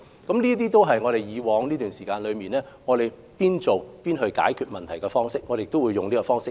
這些都是過往這段期間我們邊做邊解決問題的方式，我們會繼續採用。